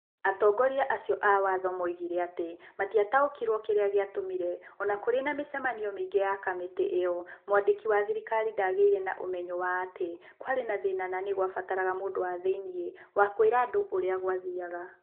Atongoria acio a waatho moigire atĩ matiataũkĩirwo kĩrĩa gĩatũmire o na kũrĩ na mĩcemanio mĩingĩ ya kamĩtĩ ĩyo, mwandĩki wa thirikari ndagĩire na ũmenyo wa atĩ kwarĩ na thĩĩna na nĩ kwabataraga mũndũ wa thĩinĩ wa kũĩra andũ ũrĩa gwathiaga.